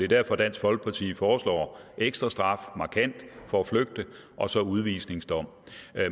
derfor dansk folkeparti foreslår ekstra straf markant for at flygte og så udvisningsdom